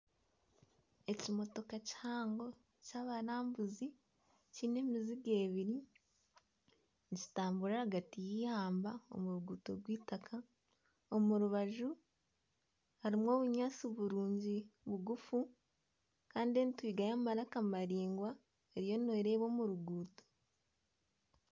Ekimotooka kihango ky'abarambuzi kyine emiziga eibiri nikitamburira ahagati y'eihamba omu ruguuto rw'eitaaka omu rubaju harimu obunyaatsi burungi bugufu kandi entwinga y'amaraka maraingwa eriyo nereeba omu ruguuto.